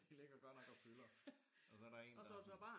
De ligger godt nok og fylder og så der en der sådan